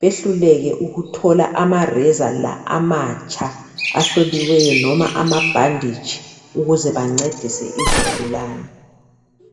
behluleke ukuthola amareza la amatsha ahloliweyo, loba amabhanditshi ukuze bancedise izigulane?